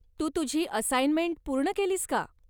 तू तुझी असाइनमेंट पूर्ण केलीस का?